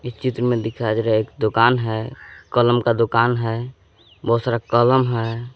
चित्र में दिखाई दे रहा है एक दुकान है। कलम का दुकान है बहुत सारा कलम हैं।